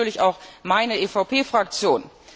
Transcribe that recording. Das tut natürlich auch meine EVP Fraktion.